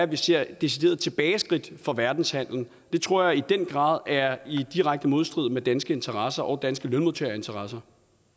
vi ser et decideret tilbageskridt for verdenshandelen det tror jeg i den grad er i direkte modstrid med danske interesser og danske lønmodtagerinteresser